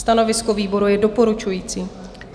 Stanovisko výboru je doporučující.